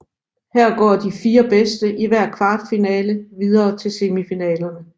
Her går de fire bedste i hver kvartfinale videre til semifinalerne